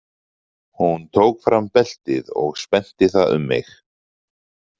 Hún tók fram beltið og spennti það um mig.